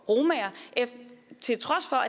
at